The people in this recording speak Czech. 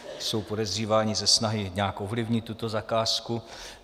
Jsou podezříváni ze snahy nějak ovlivnit tuto zakázku.